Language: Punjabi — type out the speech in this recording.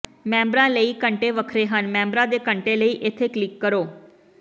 ਮੈਂਬਰਾਂ ਲਈ ਘੰਟੇ ਵੱਖਰੇ ਹਨ ਮੈਂਬਰ ਦੇ ਘੰਟੇ ਲਈ ਇੱਥੇ ਕਲਿਕ ਕਰੋ